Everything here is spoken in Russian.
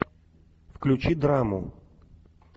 включи драму